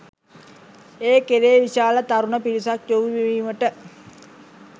ඒ කෙරේ විශාල තරුණ පිරිසක් යොමුවීමට